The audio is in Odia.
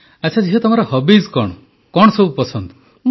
ଆଚ୍ଛା ଝିଅ ତମର ହବିଜ କଣ କଣ ସବୁ ପସନ୍ଦ